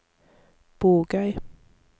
Bogøy